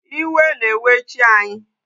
Iwe na-ewe chi anyị.